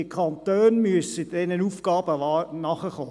Die Kantone müssen diesen Aufgaben nachkommen.